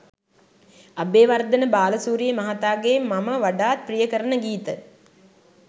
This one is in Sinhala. අබේවර්ධන බාලසූරිය මහතාගේ මම වඩාත් ප්‍රිය කරන ගීත